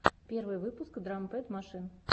первый выпуск драм пэд машин